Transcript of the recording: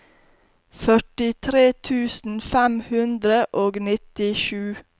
førtitre tusen fem hundre og nittisju